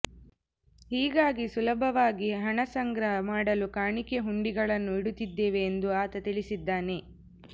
ಹೀಗಾಗಿ ಸುಲಭವಾಗಿ ಹಣ ಸಂಗ್ರಹ ಮಾಡಲು ಕಾಣಿಕೆ ಹುಂಡಿಗಳನ್ನು ಇಡುತ್ತಿದ್ದೇವೆ ಎಂದು ಆತ ತಿಳಿಸಿದ್ದಾನೆ